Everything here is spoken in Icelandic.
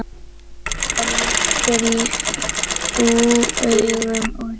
Það liggur í augum úti.